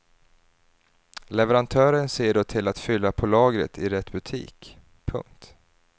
Leverantören ser då till att fylla på lagret i rätt butik. punkt